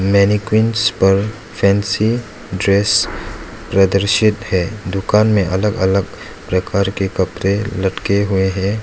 Mannequins पर fancy dress प्रदर्शित है दुकान में अलग अलग प्रकार के कपड़े लटके हुए हैं।